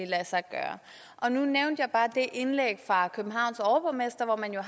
lade sig gøre og nu nævnte jeg bare det indlæg fra københavns overborgmester hvor man har